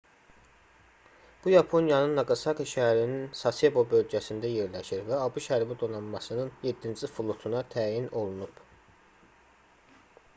bu yaponiyanın naqasaki şəhərinin sasebo bölgəsində yerləşir və abş hərbi donanmasının 7-ci flotuna təyin olunub